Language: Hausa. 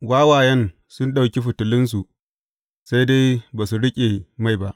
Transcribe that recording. Wawayen sun ɗauki fitilunsu, sai dai ba su riƙe mai ba.